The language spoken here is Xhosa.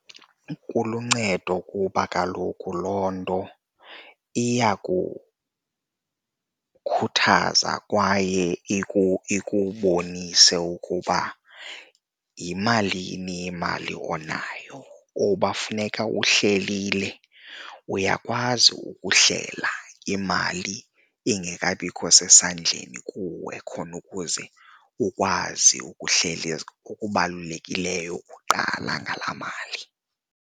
Kuluncedo kuba kaloku loo nto iyakukhathaza kwaye ikubonisa ukuba yimalini imali onayo kuba funeka uhlelile, uyakwazi ukuhlela imali ingekabikho sesandleni kuwe khona ukuze ukwazi ukuhlela okubalulekileyo kuqala ngalaa mali.